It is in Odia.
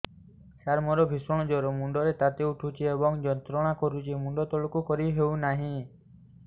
ସାର ମୋର ଭୀଷଣ ଜ୍ଵର ମୁଣ୍ଡ ର ତାତି ଉଠୁଛି ଏବଂ ଯନ୍ତ୍ରଣା କରୁଛି ମୁଣ୍ଡ ତଳକୁ କରି ହେଉନାହିଁ